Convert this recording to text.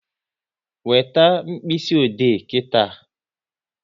Weta mkpịsị ode nkịta!